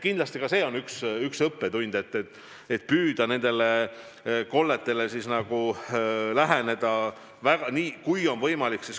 Kindlasti see on üks õppetund, et püüda isoleerida konkreetse aadressiga koldeid, kui on võimalik.